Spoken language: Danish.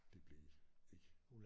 Det blev ikke